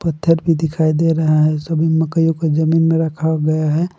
पत्थर भी दिखाई दे रहा है सभी मकईयों को जमीन में रखा हुआ है।